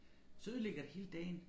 Så ødelægger det hele dagen